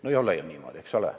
No ei ole ju niimoodi.